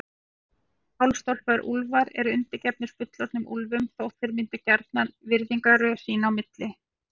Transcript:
Hálfstálpaðir úlfar eru undirgefnir fullorðnum úlfum þótt þeir myndi gjarnan virðingarröð sín á milli.